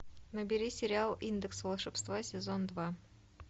набери сериал индекс волшебства сезон два